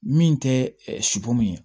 Min tɛ sipu min ye